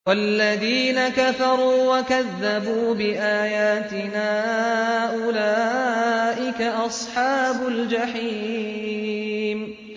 وَالَّذِينَ كَفَرُوا وَكَذَّبُوا بِآيَاتِنَا أُولَٰئِكَ أَصْحَابُ الْجَحِيمِ